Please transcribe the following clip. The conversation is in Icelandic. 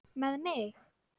Með mig?